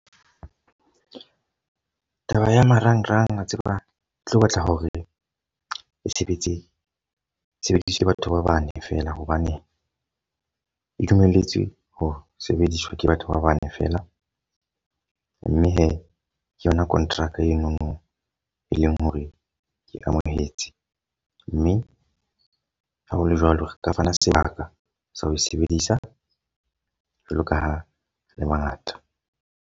Taba ya marangrang a tseba e tlo batla hore e sebetse, e sebediswe ke batho ba bane fela. Hobane e dumelletswe ho sebediswa ke batho ba bane fela. Mme he ke yona kontraka enono e leng hore ke amohetse. Mme ha hole jwalo re ka fana sebaka sa ho e sebedisa. Jwalo ka ha le ba ngata.